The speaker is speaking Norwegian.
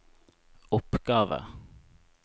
oppgave